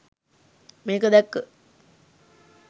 මේක දැක්ක